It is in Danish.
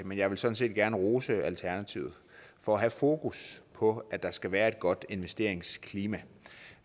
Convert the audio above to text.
men jeg vil sådan set gerne rose alternativet for at have fokus på at der skal være et godt investeringsklima